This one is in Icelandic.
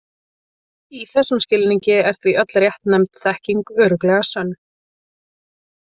Í þessum skilningi er því öll réttnefnd þekking örugglega sönn.